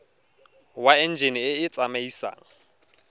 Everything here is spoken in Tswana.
wa enjine e e tsamaisang